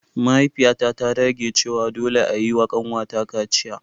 Mahaifiyata ta dage cewa dole a yi wa kanwata kaciya.